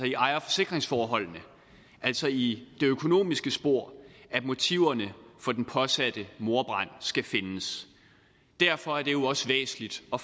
i ejer og forsikringsforholdene altså i det økonomiske spor at motiverne for den påsatte mordbrand skal findes derfor er det jo også væsentligt at